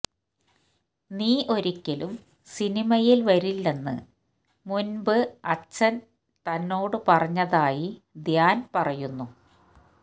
നീ ഒരിക്കലും സിനിമയില് വരില്ലെന്ന് മുന്പ് അച്ഛന് തന്നോട് പറഞ്ഞതായി ധ്യാന് പറയുന്നു